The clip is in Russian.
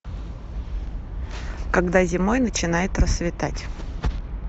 когда зимой начинает рассветать